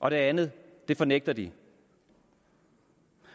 og det andet fornægter de